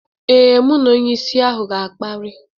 Ee, mụ na onyeisi ahụ ga-akparị.